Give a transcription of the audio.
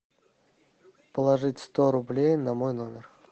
положить сто рублей на мой номер